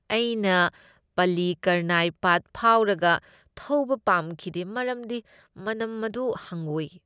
ꯑꯩꯅ ꯄꯜꯂꯤꯀꯔꯅꯥꯏ ꯄꯥꯠ ꯐꯥꯎꯔꯒ ꯊꯧꯕ ꯄꯥꯝꯈꯤꯗꯦ ꯃꯔꯝꯗꯤ ꯃꯅꯝ ꯑꯗꯨ ꯍꯪꯒꯣꯏ꯫